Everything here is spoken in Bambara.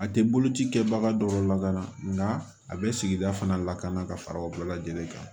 A tɛ boloci kɛbaga dɔw lakana a bɛ sigida fana lakana ka fara o bɛɛ lajɛlen kan